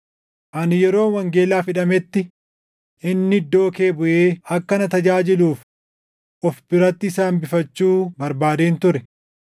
Ani yeroon wangeelaaf hidhametti inni iddoo kee buʼee akka na tajaajiluuf of biratti isa hambifachuu barbaadeen ture.